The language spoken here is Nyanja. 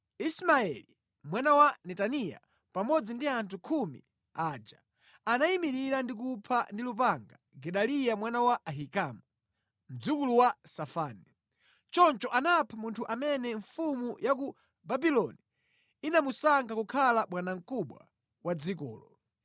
Ismaeli mwana wa Netaniya pamodzi ndi anthu khumi aja anayimirira ndi kupha ndi lupanga Gedaliya mwana wa Ahikamu, mdzukulu wa Safani. Choncho anapha munthu amene mfumu ya ku Babuloni inamusankha kukhala bwanamkubwa wa dzikolo.